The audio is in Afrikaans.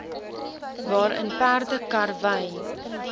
waarin perde karwy